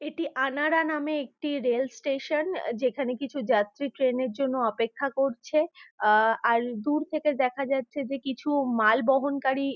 এটি আনারা নামে একটি রেল স্টেশন । যেখানে কিছু যাত্রী ট্রেনের জন্য অপেক্ষা করছে। আহ আর দূর থেকে দেখা যাচ্ছে যে কিছু মালবহনকারী --